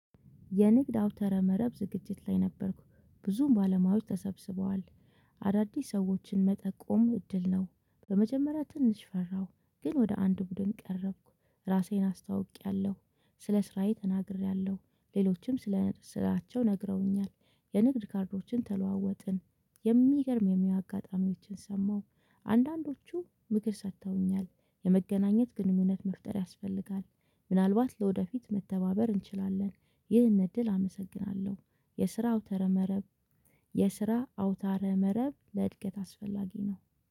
የንግድ አውታረ መረብ ዝግጅት ላይ ነበርኩ ብዙም ባለሙያዎች ተሰብስበዋል አዳዲስ ሰዎችን መጠቆም እድል ነው። በመጀመሪያ ትንሽ ፈራሁ ግን ወደ አንድ ቡድን ቀረብኩ ራሴን አስታውቂያለሁ ስለ ስራዬ ተናግሬያለሁ ሌሎችም ስለ ሥራቸው ነግረውኛል። የንግድ ካርዶችን ተለዋወጥን የሚገርም የሚያውቁ አጋጣሚዎችን ሰማሁ። አንዳንዶቹ ምክር ሰጥተውኛል የመገናኘት ግንኙነት መፍጠር ያስፈልጋል። ምናልባት ለወደፊት መተባበር እንችላለን። ይህን እድል አመሰግናለሁ። የስራ አውታረ መረብ። የስራ አውታረ መረብ ለእድገት አስፈላጊ ነው